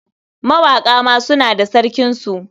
Mawaƙa ma suna da sarkinsu.